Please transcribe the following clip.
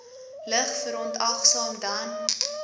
lig verontagsaam dan